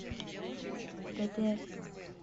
тете